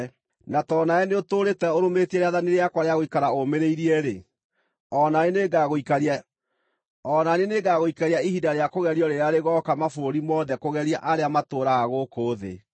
Na tondũ nawe nĩũtũũrĩte ũrũmĩtie rĩathani rĩakwa rĩa gũikara ũmĩrĩirie-rĩ, o na niĩ nĩngagũikaria ihinda rĩa kũgerio rĩrĩa rĩgooka mabũrũri mothe kũgeria arĩa matũũraga gũkũ thĩ.